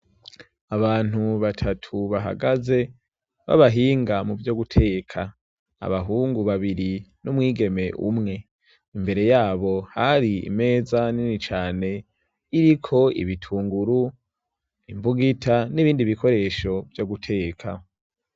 Abantu batatu bahagaze b'abahinga mu vyo guteka, abahungu babiri n'umwigeme umw. Imbere yabo hari imeza nini cane iriko ibitunguru, imbugita n'ibindi bikoresho vyo guteka.